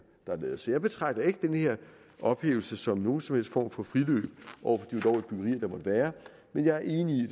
der er lavet så jeg betragter ikke den her ophævelse som nogen som helst form for friløb over for være men jeg er enig i